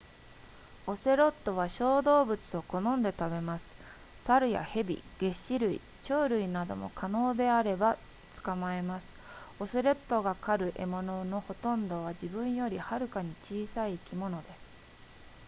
オセロットは小動物を好んで食べます猿や蛇げっ歯類鳥類なども可能であれば捕まえますオセロットが狩る獲物のほとんどは自分よりもはるかに小さい生き物です